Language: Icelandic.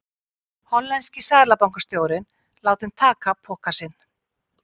Hollenski seðlabankastjórinn látinn taka poka sinn